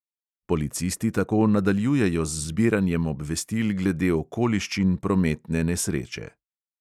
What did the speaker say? Policisti tako nadaljujejo z zbiranjem obvestil glede okoliščin prometne nesreče.